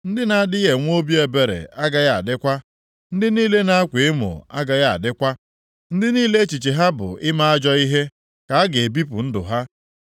Ndị na-adịghị enwe obi ebere agaghị adịkwa; ndị niile na-akwa emo agaghị adịkwa, ndị niile echiche ha bụ ime ajọ ihe ka a ga-ebipụ ndụ ha,